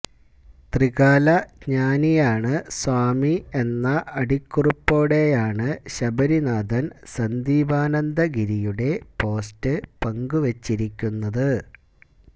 ത്രികാല ജ്ഞാനിയാണ് സ്വാമി എന്ന അടിക്കുറിപ്പോടൈയാണ് ശബരീനാഥന് സന്ദീപാനന്ദഗിരിയുടെ പോസ്റ്റ് പങ്കുവെച്ചിരിക്കുന്നത്